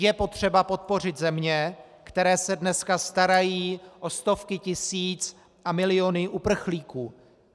Je potřeba podpořit země, které se dneska starají o stovky tisíc a miliony uprchlíků.